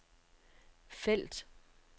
felt